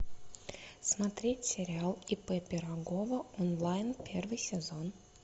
смотреть сериал ип пирогова онлайн первый сезон